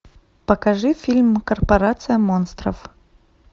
покажи фильм корпорация монстров